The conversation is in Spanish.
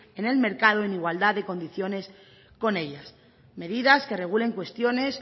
en el mercado en igualdad de condiciones con ellas medidas que regulen cuestiones